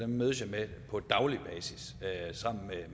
dem mødes jeg med på daglig basis sammen med